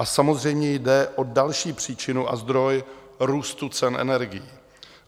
A samozřejmě jde o další příčinu a zdroj růstu cen energií.